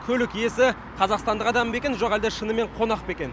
көлік иесі қазақстандық адам ба екен жоқ әлде қонақ па екен